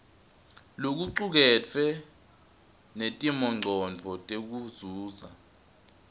lokucuketfwe netimongcondvo tekuzuza